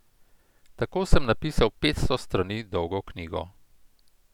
Tako sem napisal petsto strani dolgo knjigo.